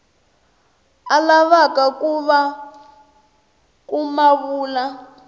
a lavaka ku ma vula